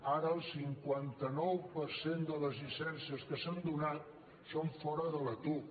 ara el cinquanta nou per cent de les llicències que s’han donat són fora de la tuc